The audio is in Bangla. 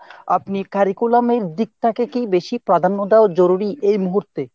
আপনি curriculum এর দিকটাকে কী বেশি প্রাধান্য দেওয়া জরুরি এই মুহূর্তে ?